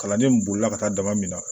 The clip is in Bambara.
Kalandenw bolila ka taa daba min na